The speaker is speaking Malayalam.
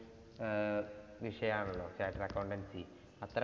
ആഹ് വിഷയം ആണല്ലോ chattered accountancy അത്ര